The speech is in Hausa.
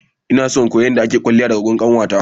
Ina kuma so in koyi yadda akeyin kwalliya daga gurin kanwata.